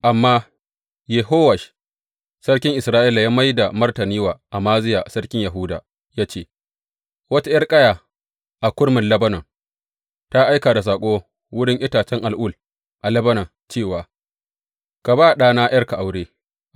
Amma Yehowash sarkin Isra’ila ya mai da martani wa Amaziya sarkin Yahuda ya ce, Wata ’yar ƙaya a kurmin Lebanon ta aika da saƙo wurin itacen al’ul a Lebanon cewa, Ka ba ɗana ’yarka aure.’